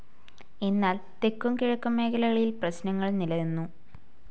എന്നാൽ തെക്കും കിഴക്കും മേഖലകളിൽ പ്രശ്നങ്ങൾ നിലനിന്നു.